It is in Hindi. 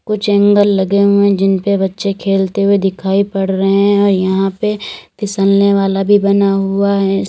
कुछ एंगल लगे हुए हैं जिन पे बच्चे खेलते हुए दिखाई पड़ रहे हैं और यहां पे फिसलने वाला भी बना हुआ है।